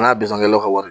N ka bizekɛlaw ka wari